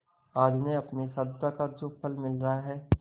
आज उन्हें अपनी साधुता का जो फल मिल रहा है